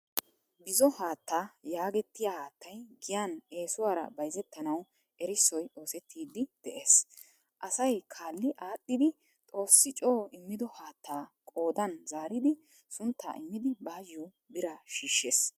Bzzo haattaa yaagettiyaa haattay giyan esuwaaraa bayzzettanawu erissoy oossettidi de"ees. Asaay kalli adhdhidi xoossi co immido haattaa koddan zaaridi suntta immidi bayo biraa shiishees.